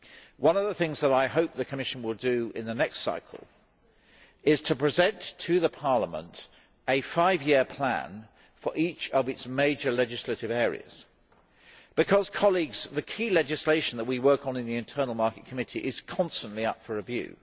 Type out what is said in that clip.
One of the things that I hope the Commission will do in the next cycle is to present to Parliament a five year plan for each of its major legislative areas, because the key legislation that we work on in the Internal Market Committee is constantly up for review.